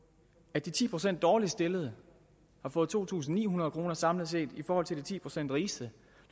at de ti procent dårligst stillede har fået to tusind ni hundrede kroner samlet set i forhold til de ti procent rigeste